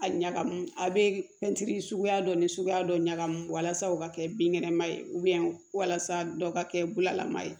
A ɲagamu a be suguya dɔ ni suguya dɔ ɲagami walasa o ka kɛ binkɛnɛma ye walasa dɔw ka kɛ bulalama ye